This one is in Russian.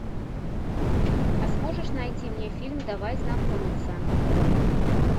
а сможешь найти мне фильм давай знакомиться